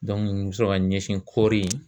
Dɔnku n sɔrɔ ka ɲɛsin kɔɔri